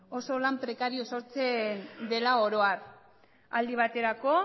oso lan prekarioa sortzen dela oro har aldi baterako